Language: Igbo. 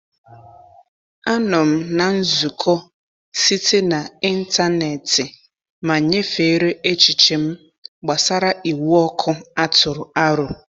Anọ m na nzukọ site na ịntanetị ma nyefere echiche m gbasara iwu ọkụ a tụrụ aro.